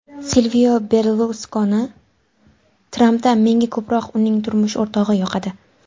Silvio Berluskoni: Trampda menga ko‘proq uning turmush o‘rtog‘i yoqadi.